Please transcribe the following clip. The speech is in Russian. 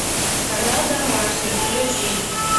канал домашний включить